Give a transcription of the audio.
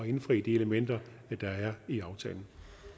indfri de elementer der er i aftalen